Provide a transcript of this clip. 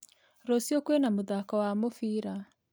Rũciũkwĩna mũthako wa mũbira